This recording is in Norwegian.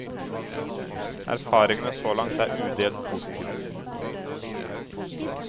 Erfaringene så langt er udelt positive.